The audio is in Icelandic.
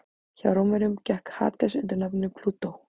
Hjá Rómverjum gekk Hades undir nafninu Plútó.